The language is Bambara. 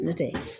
N'o tɛ